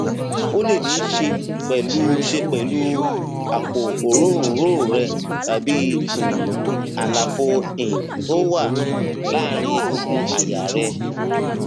ó lè níí ṣe pẹlú ṣe pẹlú àpò òróǹro rẹ tàbí um àlàfo um tó wà um láàárín egungun àyà rẹ